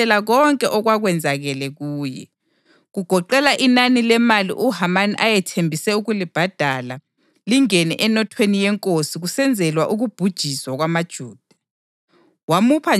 UModekhayi wamtshela konke okwakwenzakale kuye, kugoqela inani lemali uHamani ayethembise ukulibhadala lingene enothweni yenkosi kusenzelwa ukubhujiswa kwamaJuda.